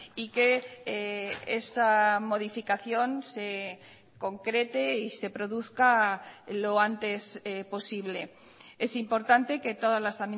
y que esa modificación se concrete y se produzca lo antes posible es importante que todas las